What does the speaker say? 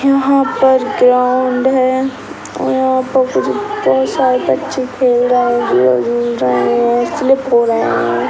यहाँ पर ग्राउंड है और यहाँ पर कुछ बहुत सारे बच्चे खेल रहे हैं झूला झूल रहे हैं स्लिप हो रहे हैं ।